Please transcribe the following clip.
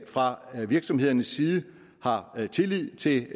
fra virksomhedernes side har tillid til